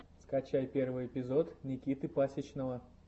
скачай первый эпизод никиты пасичного